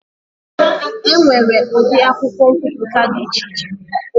E nwere ụdị akwụkwọ nkwuputa dị iche iche.